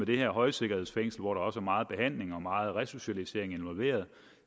det her højsikkerhedsfængsel hvor der også meget behandling og meget resocialisering